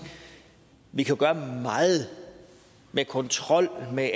vi jo kan gøre meget med kontrol med